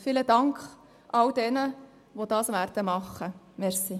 Ich danke allen, die das tun werden.